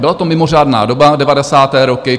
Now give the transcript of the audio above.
Byla to mimořádná doba, devadesáté roky.